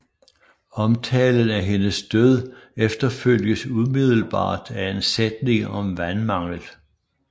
Omtalen af hendes død efterfølges umiddelbart af en sætning om vandmanglen